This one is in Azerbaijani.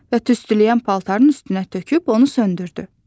və tüstüləyən paltarın üstünə töküb onu söndürdü.